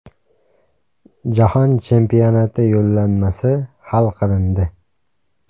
Jahon chempionati yo‘llanmasi hal qilindi.